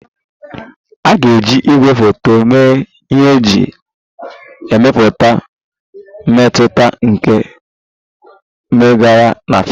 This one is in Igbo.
A ga-eji igwefoto mee ihe iji mepụta mmetụta nke mmegharị na fim